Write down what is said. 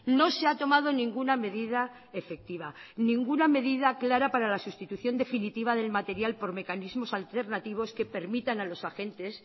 no se ha tomado ninguna medida efectiva ninguna medida clara para la sustitución definitiva del material por mecanismos alternativos que permitan a los agentes